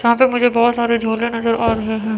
यहां पे मुझे बहोत सारे झोले नजर आ रहे हैं।